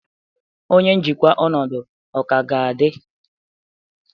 Onye njikwa ọnọdụ ka ga-adị?